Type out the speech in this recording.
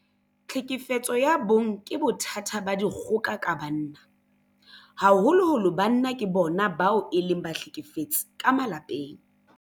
Tlhekefetso ya bong ke bothata ba dikgoka ka banna. Haholoholo banna ke bona bao e leng bahlekefetsi ka malapeng.